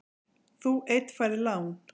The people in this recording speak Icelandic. Þú einn færð lán.